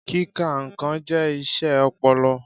Kíka nnkàn jẹ́ iṣẹ́ ọpọlọ.